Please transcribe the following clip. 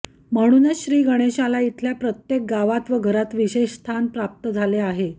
म्हणूनच श्री गणेशाला इथल्या प्रत्येक गावात व घरात विशेष स्थान प्राप्त झाले आहे